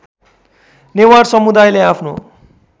नेवार समुदायले आफ्नो